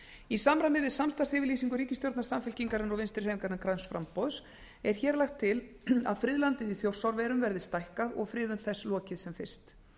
í samræmi við samstarfsyfirlýsingu ríkisstjórnar samfylkingarinnar og vinstrihreyfingarinnar græns framboðs er hér lagt til að friðlandið í þjórsárverum verði stækkað og friðun þess lokið sem fyrst